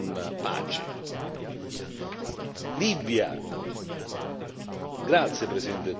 Libia grazie Presidente Tusk, perché Lei ha ricordato la Libia.